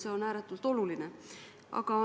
See on ääretult oluline.